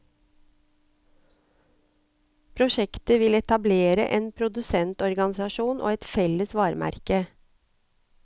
Prosjektet vil etablere en produsentorganisasjon og et felles varemerke.